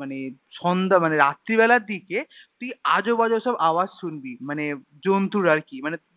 মানে সন্ধ্যা মানে রাত্রি বেলায় দিকে তুই আজব আজব সব আওয়াজ শুনবি মানে জন্তুর আরকি মানে